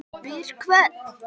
Spyrja hvern?